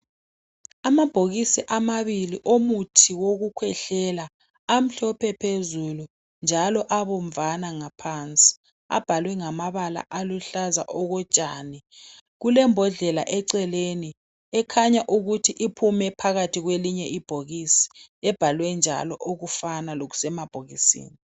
Amabhokisi amabili omuthi wokukhwehlela amhlophe phezulu njalo abomvana ngaphansi. Abhalwe ngamabala aluhlaza okotshani. Kulembodlela eceleni ekhanya ukuthi iphume phakathi kwelinye ibhokisi, ebhalwe njalo okufana lokusemabhokisini.